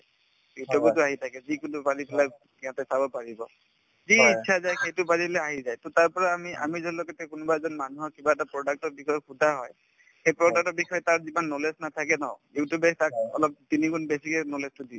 youtube তো আহি থাকে যিকোনো বিলাক সিহঁতে চাব পাৰিব যি ইচ্ছা যায় সেইটো মাৰিলে আহি যায় to তাৰপৰা আমি আমি যলৈকে কোনোবা এজন মানুহক কিবা এটা product ৰ বিষয়ে সোধা হয় সেই product ৰ বিষয়ে তাৰ যিমান knowledge নাথাকে ন you tube তে তাক অলপ তিনিগুণ বেছিকে knowledge তো দি দিয়ে